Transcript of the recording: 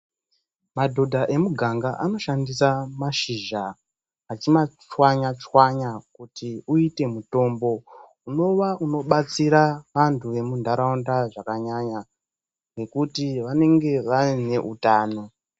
Madhodha emuganga anoshandisa mashizha achima tswanya tswanya kuti uite mutombo, unova unobatsira antu emunharaunda zvakanyanya nekuti vanenge vaine utano